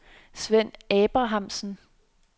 Svend Abrahamsen